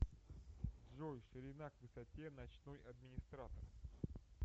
джой ширина к высоте ночной администратор